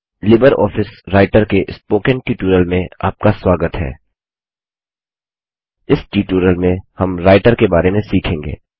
Libre Office Writer के spoken tutorial में आपका स्वागत है - इस ट्यूटोरियल में हम राइटर के बारे में सीखेंगे